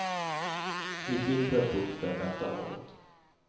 Vi gick in på en pub för att äta något.